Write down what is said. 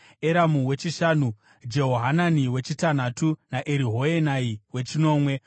Eramu wechishanu, Jehohanani wechitanhatu, naEriehoenai wechinomwe.